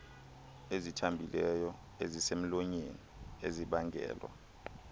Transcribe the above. ezithambileyo ezisemlonyeni ezibangelwa